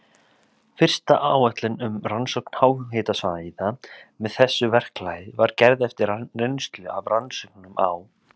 Fyrsta áætlun um rannsókn háhitasvæða með þessu verklagi var gerð eftir reynslu af rannsóknum á